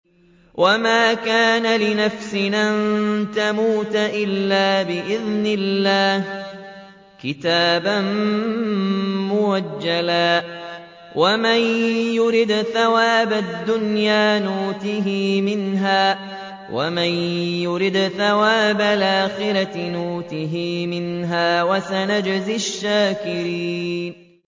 وَمَا كَانَ لِنَفْسٍ أَن تَمُوتَ إِلَّا بِإِذْنِ اللَّهِ كِتَابًا مُّؤَجَّلًا ۗ وَمَن يُرِدْ ثَوَابَ الدُّنْيَا نُؤْتِهِ مِنْهَا وَمَن يُرِدْ ثَوَابَ الْآخِرَةِ نُؤْتِهِ مِنْهَا ۚ وَسَنَجْزِي الشَّاكِرِينَ